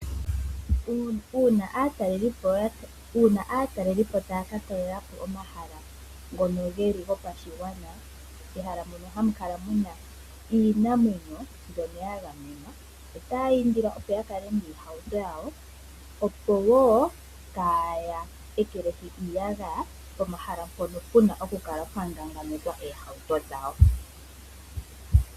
Aatalelipo taya ka talela po omahala ngono gopashigwana, pehala mpoka puna iinamwenyo byoko ya gamenwa. Otaya indilwa opo ya kale miitukutuku, opo wo kaya ekelehi iiyagaya pomahala mpoka peni okukala pwa ngangamekwa iitukutuku yawo.